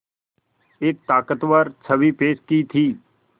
एक ताक़तवर छवि पेश की थी